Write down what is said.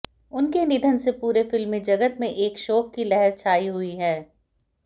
उनके निधन से पूरे फिल्मी जगत में एक शोक की लहर छाई हुई है